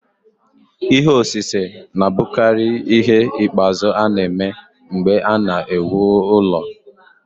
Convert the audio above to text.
Ihe osise na-abụkarị ihe ikpeazụ a na-eme mgbe a na-ewu ụlọ.